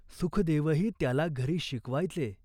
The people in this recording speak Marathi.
सुखदेवही त्याला घरी शिकवायचे.